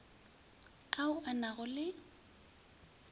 ao a na go le